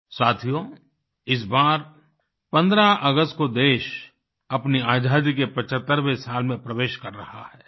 साथियो इस बार 15 अगस्त को देश अपनी आज़ादी के 75वें साल में प्रवेश कर रहा है